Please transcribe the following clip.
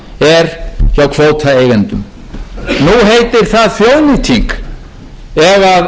er formaður sjálfstæðisflokksins þeirrar skoðunar að einhverjir aðrir eigi fiskimiðin